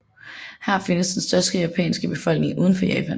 Her findes den største japanske befolkning udenfor Japan